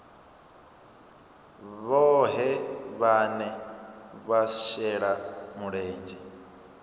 vhohe vhane vha shela mulenzhe